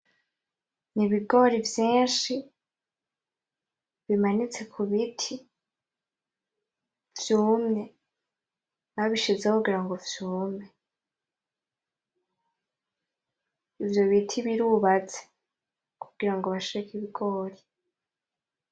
Ibigori vyinshi bimanitse kubiti vyumye, babishizeho kugira vyume ivyo biti birubatse kugira bashireko Ibigori.